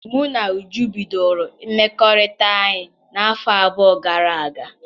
Mụ na Uju bidoro mmekọrịta anyị n'afọ abụọ gara aga m